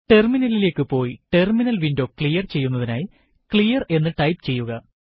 ടെർമിനലിലേക്ക് പോയി terminal window clear ചെയ്യുന്നതിനായി ക്ലിയർ എന്ന് ടൈപ്പ് ചെയ്യുക